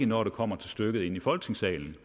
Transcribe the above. når det kommer til stykket i folketingssalen vil